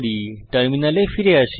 টার্মিনালে ফিরে আসি